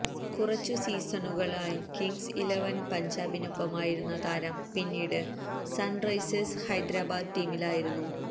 കുറച്ചു സീസണുകൡ Kings eleven പഞ്ചാബിനൊപ്പമായിരുന്ന താരം പിന്നീട് സണ്റൈസേഴ്സ് ഹൈദരാബാദ് ടീമിലായിരുന്നു